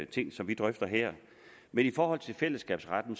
ting som vi drøfter her med i forhold til fællesskabsretten